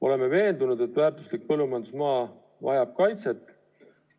Oleme veendunud, et väärtuslik põllumajandusmaa vajab kaitset.